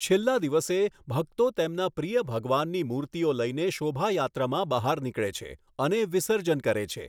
છેલ્લા દિવસે, ભક્તો તેમના પ્રિય ભગવાનનની મૂર્તિઓ લઈને શોભાયાત્રામાં બહાર નીકળે છે અને વિસર્જન કરે છે.